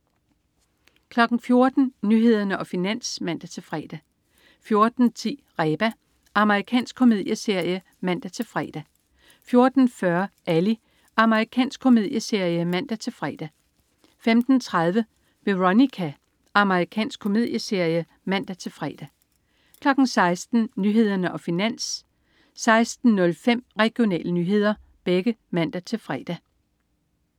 14.00 Nyhederne og Finans (man-fre) 14.10 Reba. Amerikansk komedieserie (man-fre) 14.40 Ally. Amerikansk komedieserie (man-fre) 15.30 Veronica. Amerikansk komedieserie (man-fre) 16.00 Nyhederne og Finans (man-fre) 16.05 Regionale nyheder (man-fre)